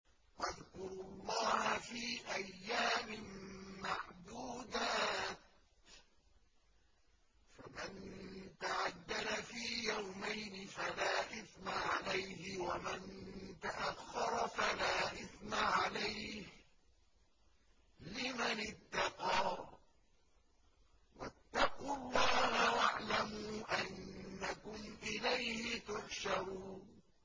۞ وَاذْكُرُوا اللَّهَ فِي أَيَّامٍ مَّعْدُودَاتٍ ۚ فَمَن تَعَجَّلَ فِي يَوْمَيْنِ فَلَا إِثْمَ عَلَيْهِ وَمَن تَأَخَّرَ فَلَا إِثْمَ عَلَيْهِ ۚ لِمَنِ اتَّقَىٰ ۗ وَاتَّقُوا اللَّهَ وَاعْلَمُوا أَنَّكُمْ إِلَيْهِ تُحْشَرُونَ